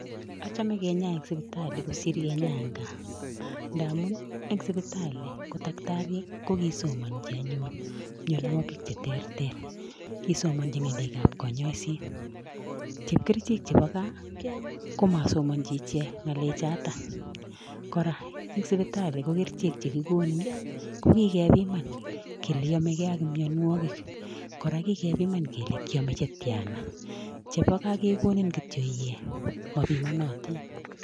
Achame kenyaya eng sipitali kosir e g gaa, ndamun eng sipitali ko takitaryek ko kisomanji anyun mianwagik che ter ter. Kisomanji ngalet ab kayaiset . Chepkerichek Chebo gaa komasomanji ichek ng'alek chatak . Kora eng sipitali ko kerichek chekikonin, ko kikepiman kele yamegei ak mianwagik, kora kikepiman kele kiamei chetiana. Chebo gaa kekonin kityo iee mapinanatin.